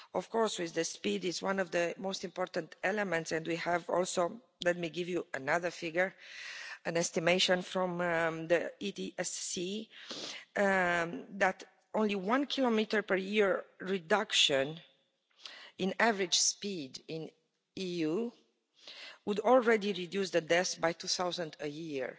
Of course, speed is one of the most important elements, and we have also, let me give you another figure, an estimation from the EDFC, that only one kilometre per year reduction in average speed in the EU would already reduce the deaths by 2000 a year.